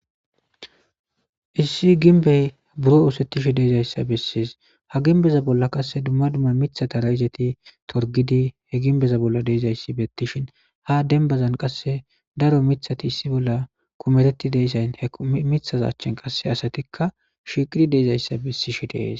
issi ginbey buro usettishi deezayssa bessies ha ginbeza bolla qasse dumma dumma mitha tara izeti torgidi he ginbeza bolla deezayssi bettishin ha denbazan qasse daro mithati issi bolla kumetetti deyssayn he mithaza achchin qasse asatikka shiqiri deezayssa bissishi dees